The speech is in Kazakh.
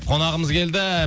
қонағымыз келді